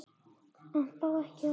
En þó ekki of illa.